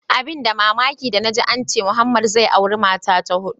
Abun da mamaki danaji ance Muhammed zai auri mata ta hudu.